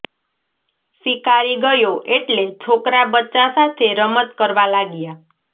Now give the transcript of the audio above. શિકારી ગયો એટલે છોકરા બચ્ચા સાથે રમત કરવા લાગ્યાં